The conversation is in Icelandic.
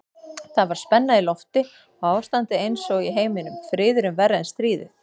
Það var spenna í lofti og ástandið einsog í heiminum, friðurinn verri en stríðið.